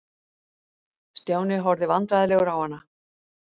Stjáni horfði vandræðalegur á hana.